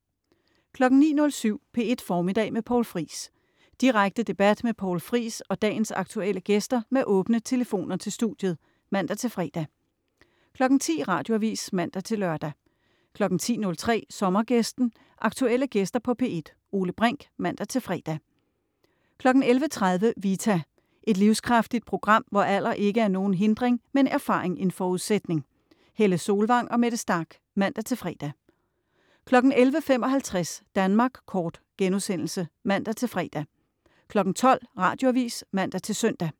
09.07 P1 Formiddag med Poul Friis. Direkte debat med Poul Friis og dagens aktuelle gæster med åbne telefoner til studiet (man-fre) 10.00 Radioavis (man-lør) 10.03 Sommergæsten, aktuelle gæster på P1, Ole Brink (man-fre) 11.30 Vita. Et livskraftigt program, hvor alder ikke er nogen hindring, men erfaring en forudsætning. Helle Solvang og Mette Starch (man-fre) 11.55 Danmark kort* (man-fre) 12.00 Radioavis (man-søn)